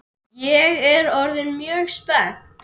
Ég er orðin mjög spennt!